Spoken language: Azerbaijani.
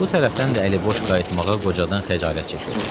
Bu tərəfdən də əli boş qayıtmağa qocadan xəcalət çəkirdi.